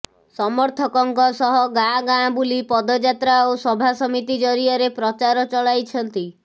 ସମର୍ଥକଙ୍କ ସହ ଗାଁ ଗାଁ ବୁଲି ପଦଯାତ୍ରା ଓ ସଭା ସମିତି ଜରିଆରେ ପ୍ରଚାର ଚଳାଇଛନ୍ତି